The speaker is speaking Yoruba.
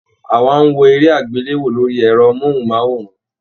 Àwa n wò eré agbelewo lórí ẹrọ mohunmaworan